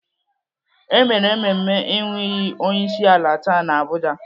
E mere mmemme ịnụ iyi onyeisiala taa n'Abuja.